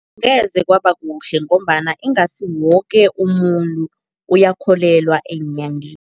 Ngeze kwabakuhle ngombana ingasi woke umuntu uyakholelwa eenyangeni.